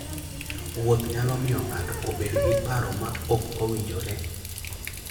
Wuoth nyalo miyo ng'ato obed gi paro ma ok owinjore.